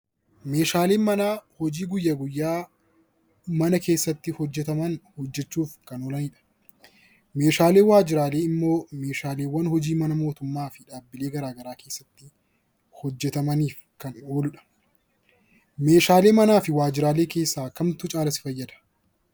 Meeshaaleen manaa hojii guyyaa guyyaa mana keessatti hojjataman hojjachuuf kan oolanidha. Meeshaaleen waajjiraalee immoo meeshaalee mana hojii mootummaa yookiin dhuunfaa keessatti hojjatamaniif kan ooludha. Meeshaalee manaa fi waajjiraalee keessaa kamtu caalaa fayyada?